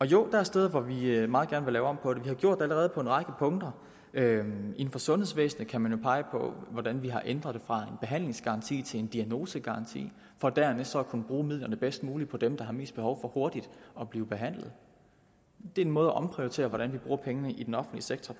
jo der er steder hvor vi meget gerne vil lave om på det vi har gjort det allerede på en række punkter inden for sundhedsvæsenet kan man jo pege på hvordan vi har ændret det fra behandlingsgaranti til en diagnosegaranti for dernæst så at kunne bruge midlerne bedst muligt på dem der har mest behov for hurtigt at blive behandlet det er en måde at omprioritere på hvordan vi bruger pengene i den offentlige sektor